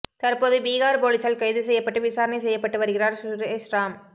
தற்போது பிகார் போலீசால் கைது செய்யப்பட்டு விசாரணை செய்யப்பட்டு வருகிறார் சுரேஷ் ராம்